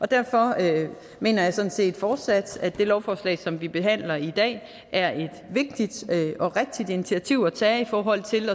derfor mener jeg sådan set fortsat at det lovforslag som vi behandler i dag er et vigtigt og rigtigt initiativ at tage i forhold til